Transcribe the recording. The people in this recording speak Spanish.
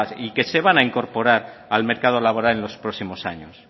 y que se van a incorporar al mercado laboral en los próximos años